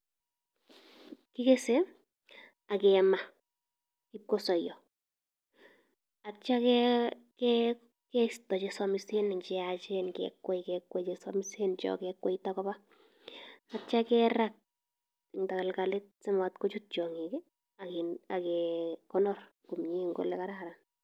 Kigese ak kema ibkosoiyo. Atio ke keisto che samisen en che yachen kekwei kekwei che somisen cho ke kweita koba tatio kerat eng tagalgalit simat kochut tiong'ik, agen ege konor komnye eng oli kararan.